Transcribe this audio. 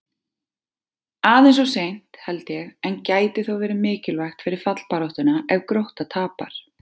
Aðeins of seint, held ég, en gæti þó verið mikilvægt fyrir fallbaráttuna ef Grótta tapar!